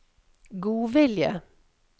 godvilje